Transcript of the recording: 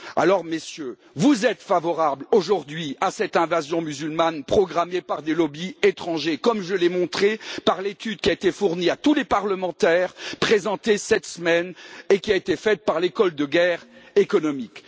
Alors, Messieurs, vous êtes favorables aujourd'hui à cette invasion musulmane programmée par des lobbies étrangers, comme je l'ai montré par l'étude qui a été fournie à tous les parlementaires, présentée cette semaine et qui a été faite par l'école de guerre économique.